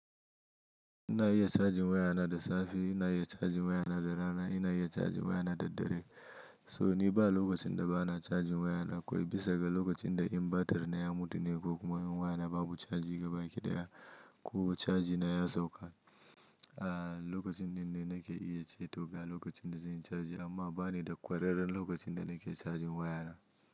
Ina iya charging wayana da safe, ina iya charging wayana da rana, ina iya charging wayana da dare. So ni ba lokacin da ba na charging wayana kawai bisa ga lokacin da inverter na ya mutu ne ko kuma wayana babu cajin gaba ki daya ko caji na ya sauka. Lokacin dinnan nake iya ce to ga lokacin da zan yi charging amma bani da kwararre lokacin da nake charging wayana.